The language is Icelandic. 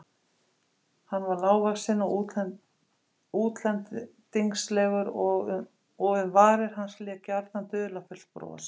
Hann var lágvaxinn og útlendingslegur og um varir hans lék gjarnan dularfullt bros.